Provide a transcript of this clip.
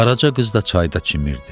Qaraca qız da çayda çimirdi.